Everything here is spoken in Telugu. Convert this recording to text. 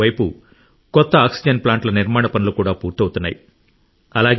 మరోవైపు కొత్త ఆక్సిజన్ ప్లాంట్ల నిర్మాణ పనులు కూడా పూర్తవుతున్నాయి